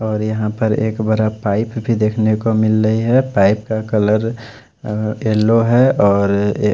और यहां पर एक बड़ा पाइप भी देखने को मिल रही है पाइप का कलर अह येलो है और--